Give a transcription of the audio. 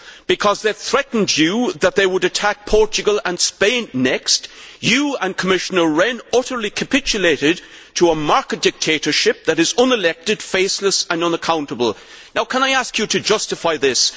Because they threatened you that they would attack Portugal and Spain next, you and Commissioner Rehn utterly capitulated to a market dictatorship that is unelected, faceless and unaccountable. Can I ask you to justify this?